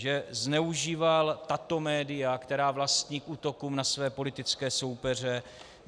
Že zneužíval tato média, která vlastní, k útokům na své politické soupeře.